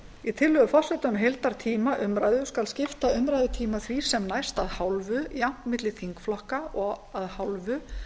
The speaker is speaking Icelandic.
í tillögu forseta um heildartíma umræðu skal skipta umræðutíma því sem næst að hálfu jafnt milli þingflokka og að hálfu